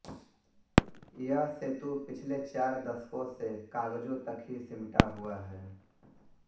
यह सेतु पिछ्ले चार दशकों से कागज़ों तक ही सिमटा हुआ है